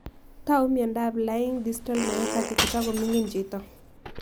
Tau miondop Laing distal myopathy ko toko mining' chito